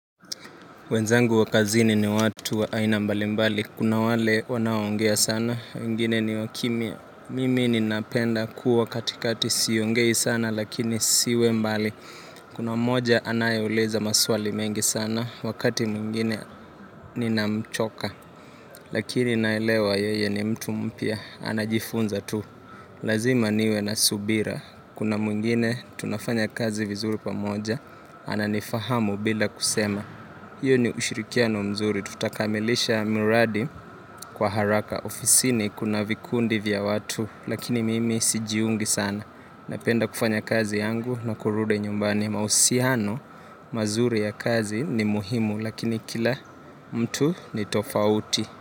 Wenzangu wa kazini ni watu wa aina mbali mbali. Kuna wale wanaoongea sana, wengine ni wakimya. Mimi ninapenda kuwa katikati siongei sana lakini nisiwe mbali. Kuna moja anayeuliza maswali mengi sana, wakati mwingine ninamchoka. Lakini naelewa yeye ni mtu mpya, anajifunza tu. Lazima niwe na subira. Kuna mwingine tunafanya kazi vizuri pamoja, ananifahamu bila kusema. Hiyo ni ushirikiano mzuri, tutakamilisha mradi kwa haraka. Ofisini kuna vikundi vya watu, lakini mimi sijiungi sana. Napenda kufanya kazi yangu na kurudi nyumbani mauhusiano, mazuri ya kazi ni muhimu, lakini kila mtu ni tofauti.